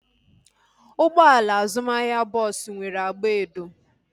Ụgbọala azụmahịa bọọsu nwere agba edo